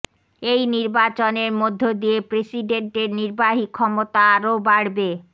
এই নির্বাচনের মধ্য দিয়ে প্রেসিডেন্টের নির্বাহী ক্ষমতা আরও বাড়বে